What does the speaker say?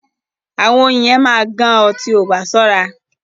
Àwọn oyin yẹn máa gán o tí o bá sóra.